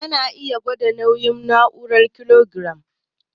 Ana iya gwada nauyi da ma'aunin kilogiram.